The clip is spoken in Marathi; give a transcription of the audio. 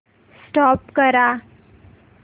स्टॉप करा